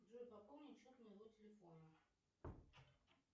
джой пополнить счет моего телефона